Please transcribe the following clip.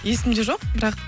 есімде жоқ бірақ